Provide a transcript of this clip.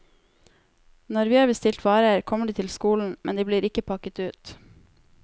Når vi har bestilt varer, kommer de til skolen, men de blir ikke pakket ut.